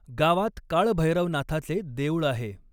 गावात काळभैरवनाथाचे देऊळ आहे.